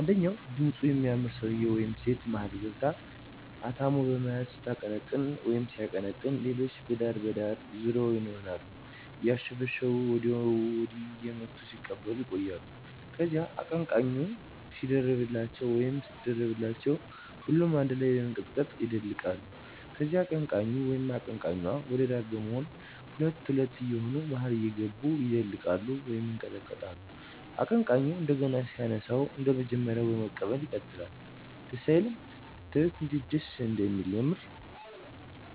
አንደኛው ድምጹ የሚያምር ሰውየ ወይም ሴት መሀል ገብቶ/ገብታ አታሞ በመያዝ ስታቀነቅን/ሲያቀነቅን ሌሎች በዳር ዳር ዙሪያውን ይሆኑና አያሸበሸቡ ወይም ወዲያና ወዲህ እየመቱ ሲቀበሉ ይቆያሉ። ከዚያ አቀነቃኙ/ኟ ሲደርብላቸው ወይም ስትደርብላቸው ሁሉም አነድ ላይ በመንቀጥቀጥ ይደልቃሉ። ከዚያ አቀንቃኙ/ኟ ወደ ዳር በመሆን ሁለት ሁለት የየሆኑ መሀል እየገቡ ይደልቃሉ፤ ይንቀጠቀጣሉ። አቀንቃኙ እንደገና ሲያነሳው አንደመጀመሪያው በመቀበል ይቀጥላል። ደስ አይልም?!! ብታዩት እንዴት ደስ እንደሚል የምር።